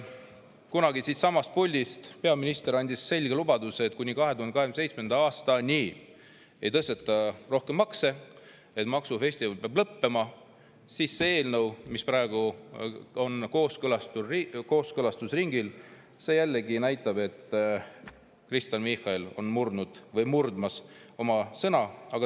Kunagi andis peaminister siitsamast puldist selge lubaduse, et kuni 2027. aastani ei tõsteta rohkem makse ja et peab maksufestival lõppema, aga see eelnõu, mis on praegu kooskõlastusringil, näitab jällegi, et Kristen Michal on murdnud või on murdmas oma sõna.